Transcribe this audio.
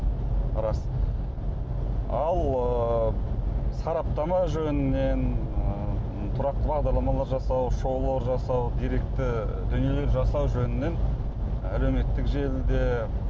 рас ал ыыы сараптама жөнінен ы тұрақты бағдарламалар жасау шоулар жасау деректі дүниелер жасау жөнінен әлеуметтік желі де